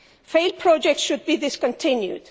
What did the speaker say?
Failed projects should be discontinued.